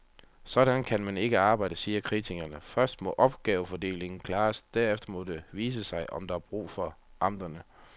Sådan kan man ikke arbejde, siger kritikerne, først må opgavefordelingen klares, derefter må det vise sig, om der er brug for amterne.